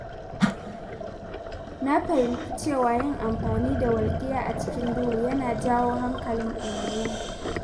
Na fahimci cewa yin amfani da walƙiya a cikin duhu yana jawo hankalin barayi.